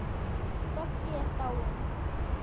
Böggi er dáinn.